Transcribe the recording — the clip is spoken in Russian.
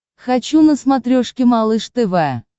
хочу на смотрешке малыш тв